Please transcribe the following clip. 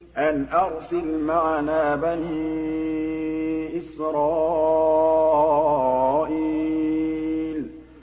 أَنْ أَرْسِلْ مَعَنَا بَنِي إِسْرَائِيلَ